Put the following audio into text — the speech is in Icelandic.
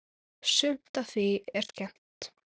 Sumt af því er skemmt.